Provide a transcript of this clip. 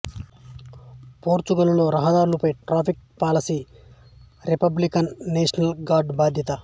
పోర్చుగల్లో రహదారులపై traffic policy Republican National Guard బాధ్యత